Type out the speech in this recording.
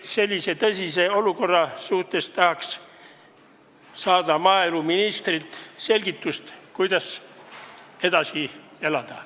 Nii tõsises olukorras tahaks saada maaeluministrilt selgitust, kuidas edasi elada.